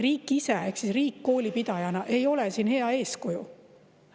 Riik ise ehk riik kooli pidajana ei ole siin hea eeskuju.